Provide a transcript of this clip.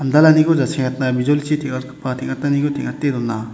jasengatna bijolichi teng·atgipa teng·ataniko teng·ate dona.